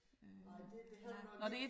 Nej det det har nok ikke